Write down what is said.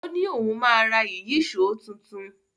O ni òun ma ra Ìyíṣòó tuntun.